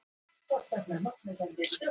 Annað svar við spurningunni Hvað er kristall?